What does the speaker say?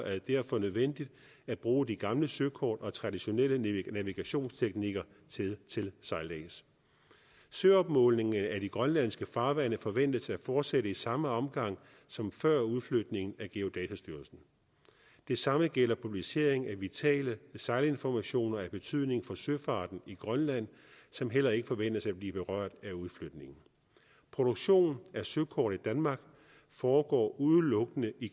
er det derfor nødvendigt at bruge de gamle søkort og traditionelle navigationsteknikker til sejlads søopmålingen af de grønlandske farvande forventes at fortsætte i samme omfang som før udflytningen af geodatastyrelsen det samme gælder publicering af vitale sejlinformationer af betydning for søfarten i grønland som heller ikke forventes at blive berørt af udflytningen produktion af søkort i danmark foregår udelukkende i